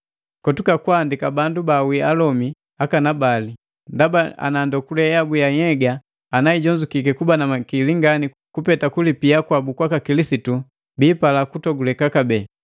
Kotuka kwaandika bandu baawii alomi akanabali, ndaba ana ndokule yabu ya nhyega ana ijonzukiki kuba na makili ngani kupeta kulipia kwabu kwaka Kilisitu, biipala kutoguleka kabee,